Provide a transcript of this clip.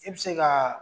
I bɛ se ka